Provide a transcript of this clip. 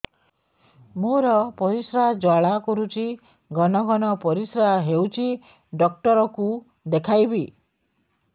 ମୋର ପରିଶ୍ରା ଜ୍ୱାଳା କରୁଛି ଘନ ଘନ ପରିଶ୍ରା ହେଉଛି ଡକ୍ଟର କୁ ଦେଖାଇବି